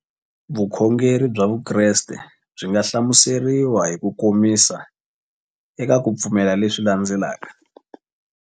Vukhongeri bya Vukreste byi nga hlamuseriwa hi kukomisa eka ku pfumela leswi landzelaka.